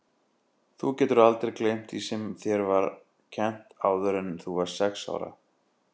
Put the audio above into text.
Þú getur aldrei gleymt því sem þér var kennt áður en þú varðst sex ára.